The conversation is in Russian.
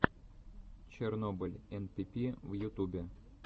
чернобыль энпипи в ютубе